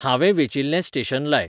हांवें वेंचील्लें स्टेशन लाय